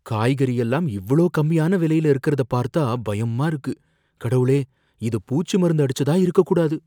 காய்கறியெல்லாம் இவ்ளோ கம்மியான விலையில இருக்கிறத பார்த்தா பயமா இருக்கு. கடவுளே, இது பூச்சி மருந்து அடிச்சதா இருக்கக் கூடாது!